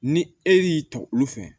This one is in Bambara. Ni e y'i ta olu fɛ